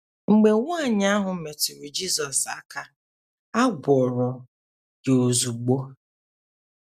Mgbe nwaanyị ahụ metụrụ Jizọs aka, a gwọrọ ya ozugbo.